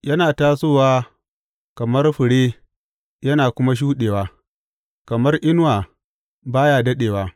Yana tasowa kamar fure yana kuma shuɗewa; kamar inuwa, ba ya daɗewa.